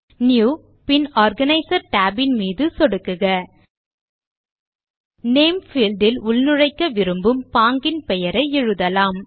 new bin organizer tab இன் மீது சொடுக்குக 000525 000429 நேம் பீல்ட் இல் உள்நுழைக்க விரும்பும் பாங்கின் பெயரை எழுதலாம்